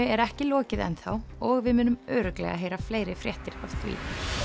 er ekki lokið enn þá og við munum örugglega heyra fleiri fréttir af því